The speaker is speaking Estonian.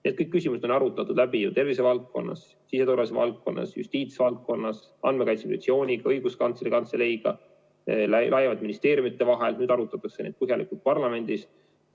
Kõik need küsimused on arutatud läbi tervisevaldkonnas, siseturvalisuse valdkonnas, justiitsvaldkonnas, Andmekaitse Inspektsiooniga, Õiguskantsleri Kantseleiga, laiemalt ministeeriumide vahel, nüüd arutatakse neid põhjalikult parlamendis.